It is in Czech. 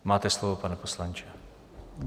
Máte slovo, pane poslanče.